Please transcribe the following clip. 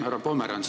Härra Pomerants!